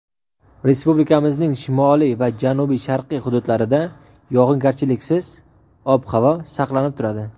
Respublikamizning shimoliy va janubi-sharqiy hududlarida yog‘ingarchiliksiz ob-havo saqlanib turadi.